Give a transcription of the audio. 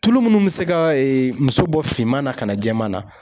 Tulu munnu bɛ se ka muso bɔ finman na ka na jɛman na.